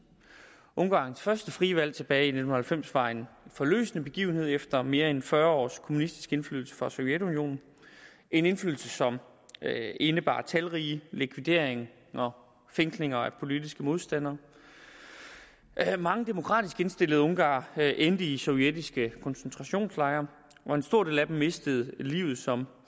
ungarns første frie valg tilbage i nitten halvfems var en forløsende begivenhed efter mere end fyrre års kommunistisk indflydelse fra sovjetunionen en indflydelse som indebar talrige likvideringer og fængslinger af politiske modstandere mange demokratisk indstillede ungarere endte i sovjetiske koncentrationslejre og en stor del af dem mistede livet som